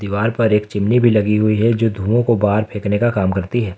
दीवाल पर एक चिमनी भी लगी हुई है जो धुआं को बाहर फेंकने का काम करती है।